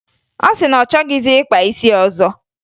Ọ sị na ọ chọghịzị ịkpa isi ọzọ